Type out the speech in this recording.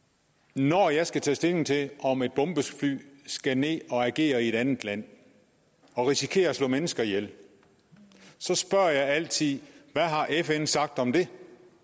når jeg skal tage stilling til om et bombefly skal ned og agere i et andet land og risikere at slå mennesker ihjel spørger jeg altid hvad har fn sagt om det